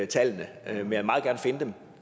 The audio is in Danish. tallene men jeg vil meget gerne finde dem